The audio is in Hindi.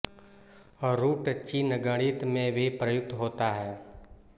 रूट चिन्ह गणित में भी प्रयुक्त होता है